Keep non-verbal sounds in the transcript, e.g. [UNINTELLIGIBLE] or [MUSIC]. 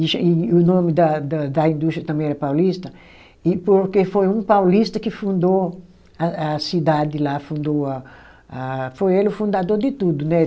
[UNINTELLIGIBLE] E o nome da da da indústria também era Paulista, e porque foi um paulista que fundou a a cidade lá, fundou a a, foi ele o fundador de tudo, né?